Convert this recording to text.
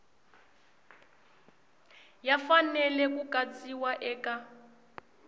ya fanele ku katsiwa eka